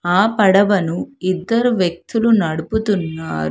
ఆ పడవను ఇద్దరు వ్యక్తులు నడుపుతున్నారు.